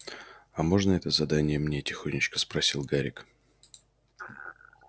а можно это задание мне тихонечко спросил гарик